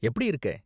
எப்படி இருக்கே?